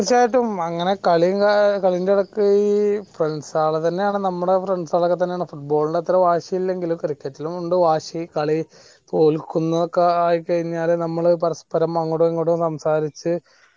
തീർച്ചയായിട്ടും അങ്ങന കളി കളിൻ്റെ എടക്ക് friends കൾ തന്നെയാണ് നമ്മളാ friends കൾ ഒക്കെ തന്നെയാണ് football NTE അത്ര വാശിയില്ലെങ്കിലും cricket ലും ഉണ്ട് വാശി തോൽക്കുന്നൊക്കെയായിക്കഴിഞ്ഞാൽ നമ്മൾ പരസ്പ്പരം അങ്ങോട്ടും ഇങ്ങോട്ടുമൊക്കെ സംസാരിച്ച്